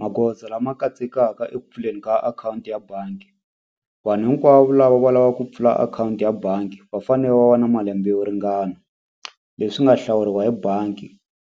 Magoza lama katsekaka eku pfuleni ka akhawunti ya bangi vanhu hinkwavo lava va lava ku pfula akhawunti ya bangi va fane va va na malembe yo ringana leswi nga hlawuriwa hi bangi